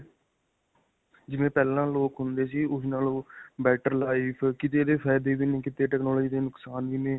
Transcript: ਜਿਵੇਂ ਪਹਿਲਾਂ ਲੋਕ ਹੁੰਦੇ ਸੀ ਉਸ ਨਾਲੋਂ better life ਕਿਤੇ ਇਸਦੇ ਫ਼ਾਈਦੇ ਵੀ ਨੇ, ਕਿਤੇ technology ਦੇ ਨੁਕਸਾਨ ਵੀ ਨੇ.